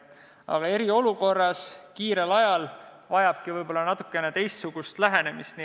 Aga eriolukorras, kiirel ajal võib-olla lähebki vaja natukene teistsugust lähenemist.